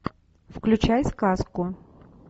включай сказку